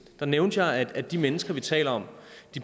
der nævnte jeg at de mennesker vi taler om